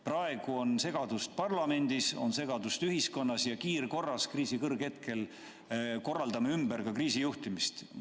Praegu on segadust parlamendis, on segadust ühiskonnas, aga kiirkorras me kriisi kõrghetkel korraldame kriisi juhtimist ümber.